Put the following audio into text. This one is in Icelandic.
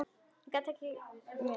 Þá gat ég ekki meir.